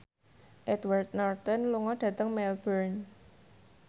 Edward Norton lunga dhateng Melbourne